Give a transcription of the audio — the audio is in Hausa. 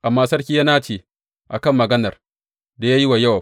Amma sarki ya nace a kan maganar da ya yi wa Yowab.